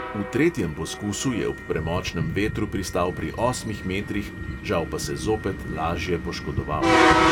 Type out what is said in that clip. V tretjem poskusu je ob premočnem vetru pristal pri osmih metrih, žal pa se zopet lažje poškodoval.